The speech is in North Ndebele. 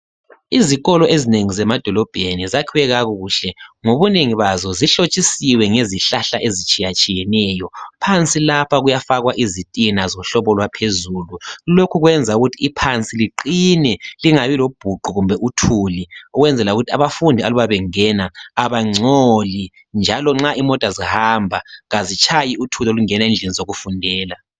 Izikolo ezinengi zemadolobheni zakhiwe kakuhle ngobunengi bazo zihlotshisiwe ngezihlahla ezitshiya tshiyeneyo phansi lapha kuyafakwa izitina zohlobo lwaphezulu lokhu kwenza ukuthi iphansi liqine lingabi lobhuqu kumbe uthuli ukwenzela ukuthi abafundi aluba bengena abangcoli njalo nxa imota zihamba kazitshayi uthuli olungena ezindlini zokufundela.